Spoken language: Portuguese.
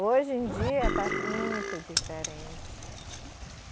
Hoje em dia está muito diferente.